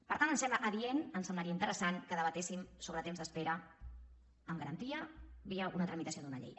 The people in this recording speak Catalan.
per tant em sembla adient em semblaria interessant que debatéssim sobre temps d’espera amb garantia via una tramitació d’una llei